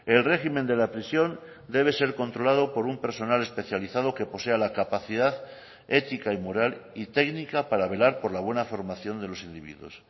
el régimen de la prisión debe ser controlado por un personal especializado que posea la capacidad ética y moral y técnica para velar por la buena formación de los individuos